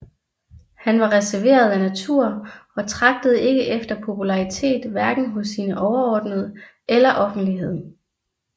Han var reserveret af natur og tragtede ikke efter popularitet hverken hos sine overordnede eller offentligheden